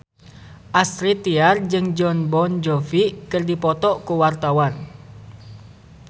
Astrid Tiar jeung Jon Bon Jovi keur dipoto ku wartawan